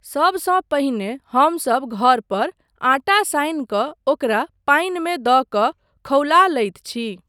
सबसँ पहिने हमसब घर पर आटा सानि कऽ ओकरा पानिमे दऽ कऽ खौला लैत छी।